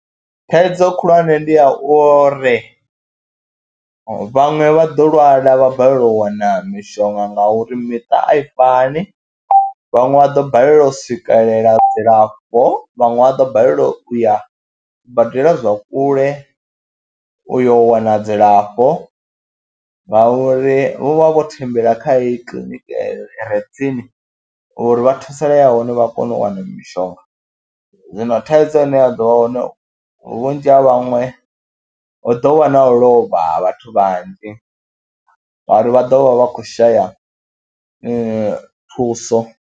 Thaidzo khulwane ndi ya uri vhaṅwe vha ḓo lwala vha balelwa u wana mishonga ngauri miṱa a i fani, vhaṅwe vha ḓo balelwa u swikelela dzilafho, vhaṅwe vha ḓo balelwa u ya badela zwa kule u yo wana dzilafho ngauri vho vha vho thembela kha heyo kiḽiniki eyo i re tsini uri vha thusalea hone vha kone u wana mishonga. Zwino thaidzo ine ya ḓo vha hone vhunzhi ha vhaṅwe hu ḓo vha na u lovha ha vhathu vhanzhi ngori vha ḓo vha vha khou shaya thuso.